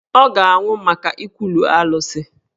Ọ ga-anwụ maka ikwulu Alụsị.